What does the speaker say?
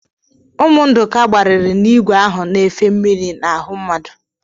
Ụmụ Ndụka gbarịrị n'ìgwè ahụ na-efe mmiri n'ahụ mmadụ.